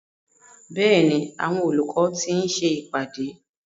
Bẹ́ẹ̀ni, àwọn olùkọ́ ti ń ṣe ìpàdé.